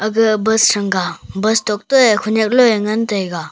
ga bus sianga bustok toe khonyak loe ngan taiga.